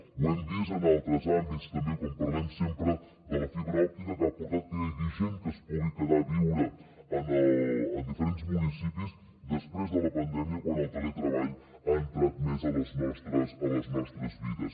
ho hem vist en altres àmbits també quan parlem sempre de la fibra òptica que ha portat que hi hagi gent que es pugui quedar a viure en diferents municipis després de la pandèmia quan el teletreball ha entrat més a les nostres vides